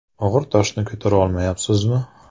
Og‘ir toshni ko‘tara olmayapsizmi?